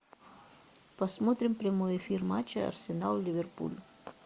посмотрим прямой эфир матча арсенал ливерпуль